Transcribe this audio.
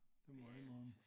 Det må jeg indrømme